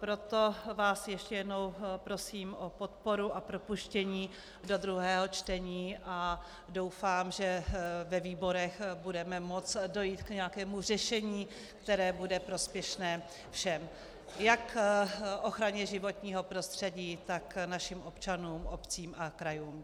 Proto vás ještě jednou prosím o podporu a propuštění do druhého čtení a doufám, že ve výborech budeme moct dojít k nějakému řešení, které bude prospěšné všem - jak ochraně životního prostředí, tak našim občanům, obcím a krajům.